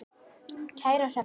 Kæra Hrefna.